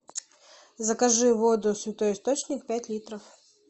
закажи воду святой источник пять литров